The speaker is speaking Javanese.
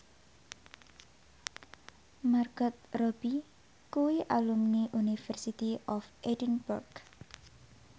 Margot Robbie kuwi alumni University of Edinburgh